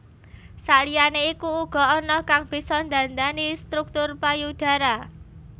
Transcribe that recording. Sakliyane iku uga ana kang bisa ndhandhani struktur payudara